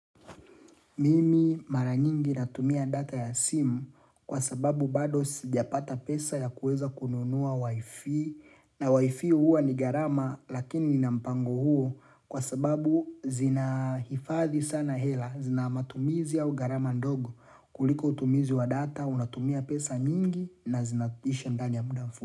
Mimi mara nyingi natumia data ya simu kwa sababu bado sijapata pesa ya kuweza kununua wifi na wifi huwa ni gharama lakini nina mpango huo kwa sababu zinahifadhi sana hela zina matumizi au gharama ndogo kuliko utumizi wa data unatumia pesa nyingi na zinaisha ndani ya muda mfu.